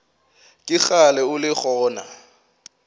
ke kgale o le gona